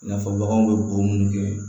I n'a fɔ baganw bɛ bo munnu kɛ